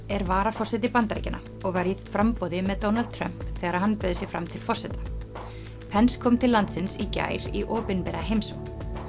er varaforseti Bandaríkjanna og var í framboði með Donald Trump þegar hann bauð sig fram til forseta pence kom til landsins í gær í opinbera heimsókn